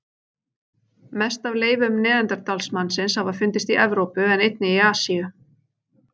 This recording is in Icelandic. Mest af leifum neanderdalsmannsins hafa fundist í Evrópu en einnig í Asíu.